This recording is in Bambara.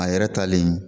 A yɛrɛ talen